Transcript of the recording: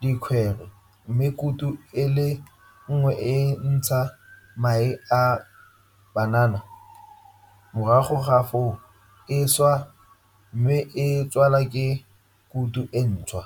dikwhere mme kutu e le nngwe e ntsha mae a banana morago ga foo e a swa mme e tsalwa ke kutu e ntšhwa.